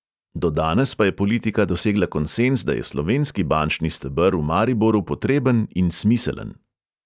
Do danes pa je politika dosegla konsenz, da je slovenski bančni steber v mariboru potreben in smiselen.